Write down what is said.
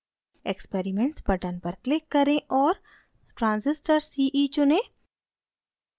experiments button पर click करें और transistor ce चुनें